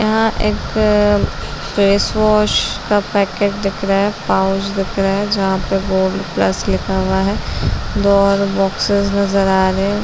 यहाँ एक face wash का पैकेट दिख रहा है पाऊच दिख रहा है जहाँ पे बोरोप्लस लिखा हुआ है दो और बॉक्सेस नजर आ रहे हैं ।.